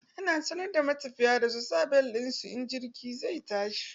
Ana sanar da matafiya da su sa bel ɗin su in jirgi zai tashi.